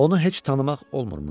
Onu heç tanımaq olmurmuş.